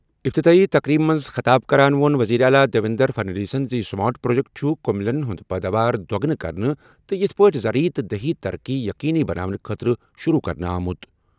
افتتاحی تقریبہِ منٛز خطاب کران ووٚن وزیر اعلیٰ دیویندر فڈنویسن زِ یہِ سمارٹ پروجیکٹ چھُ کٔمِلین ہٕنٛز پٲداوار دۄگنہٕ کرنہٕ تہٕ یِتھ پٲٹھۍ زرعی تہٕ دیہی ترقی یقینی بناونہٕ خٲطرٕ شروع کرنہٕ آمُت۔